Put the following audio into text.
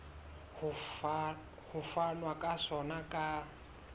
ho fanwa ka sona ka